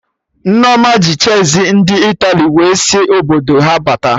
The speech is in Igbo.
Nneoma ji cheezi ndị Italy wee sị Obodo ha bata